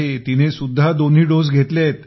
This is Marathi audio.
तिनेसुद्धा दोन्ही डोस घेतले आहेत